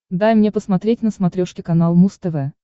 дай мне посмотреть на смотрешке канал муз тв